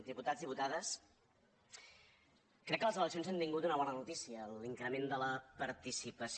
diputats diputades crec que les eleccions han tingut una bona notícia l’increment de la participació